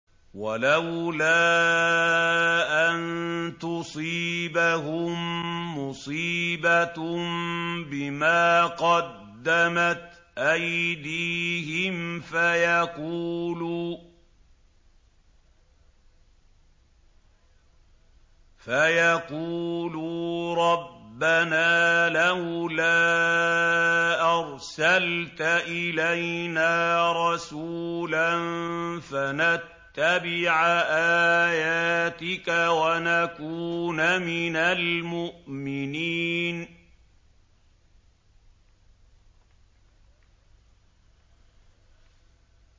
وَلَوْلَا أَن تُصِيبَهُم مُّصِيبَةٌ بِمَا قَدَّمَتْ أَيْدِيهِمْ فَيَقُولُوا رَبَّنَا لَوْلَا أَرْسَلْتَ إِلَيْنَا رَسُولًا فَنَتَّبِعَ آيَاتِكَ وَنَكُونَ مِنَ الْمُؤْمِنِينَ